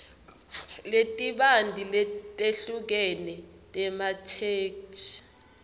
letibanti letehlukene tematheksthi